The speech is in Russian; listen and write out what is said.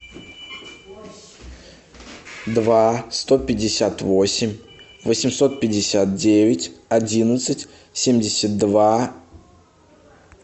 два сто пятьдесят восемь восемьсот пятьдесят девять одиннадцать семьдесят два